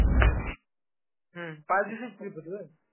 हम्म पाच दिवसाची trip होती व्हय?